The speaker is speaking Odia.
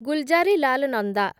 ଗୁଲଜାରିଲାଲ ନନ୍ଦା